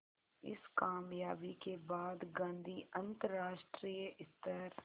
इस क़ामयाबी के बाद गांधी अंतरराष्ट्रीय स्तर